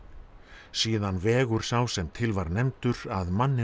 síðan vegur sá sem til var nefndur að manninum